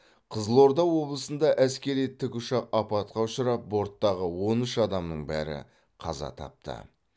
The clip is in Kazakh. қызылорда облысында әскери тікұшақ апатқа ұшырап борттағы он үш адамның бәрі қаза тапты